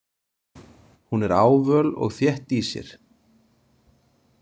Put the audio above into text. Hún er ávöl og þétt í sér.